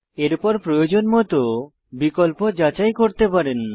এরপর প্রয়োজনমত বিকল্প যাচাই করতে পারেন